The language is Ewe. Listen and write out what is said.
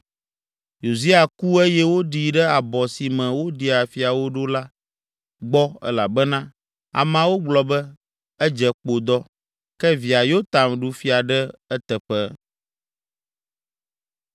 Uzia ku eye woɖii ɖe abɔ si me woɖia fiawo ɖo la gbɔ elabena ameawo gblɔ be, “Edze kpodɔ.” Ke via Yotam ɖu fia ɖe eteƒe.